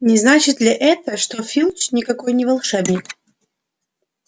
не значит ли это что филч никакой не волшебник